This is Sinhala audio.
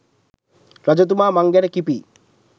රජතුමා මං ගැන කිපී